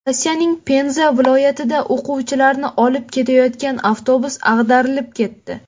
Rossiyaning Penza viloyatida o‘quvchilarni olib ketayotgan avtobus ag‘darilib ketdi.